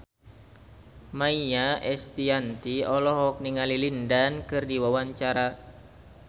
Maia Estianty olohok ningali Lin Dan keur diwawancara